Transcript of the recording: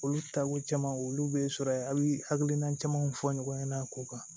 Olu taako caman olu bɛ sɔrɔ yen a bɛ hakilina camanw fɔ ɲɔgɔn ɲɛna ko kan